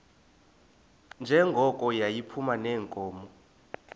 njengoko yayiphuma neenkomo